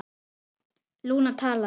Lúna talaði